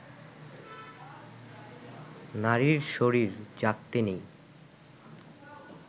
নারীর শরীর জাগতে নেই